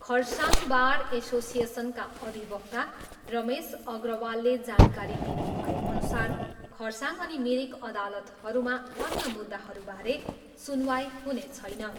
Kurseong bar एसोसिएसनका अधिवक्ता रमेश अग्रवालले जानकारी दिनुभएअनुसार खरसाङ अनि मिरिक अदातलहरूमा अन्य मुद्दाहरूबारे सुनवाई हुने छैन।